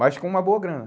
Mas com uma boa grana.